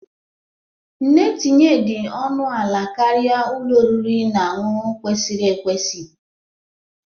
Nne tinye dị ọnụ ala karịa ụlọ oriri na ọṅụṅụ kwesịrị ekwesị.